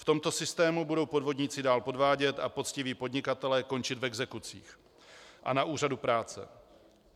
V tomto systému budou podvodníci dál podvádět a poctiví podnikatelé končit v exekucích a na úřadu práce.